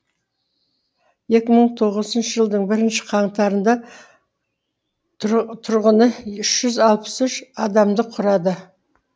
екі мың тоғызыншы жылдың бірінші қаңтарында тұрғыны үш жүз алпыс үш адамды құрады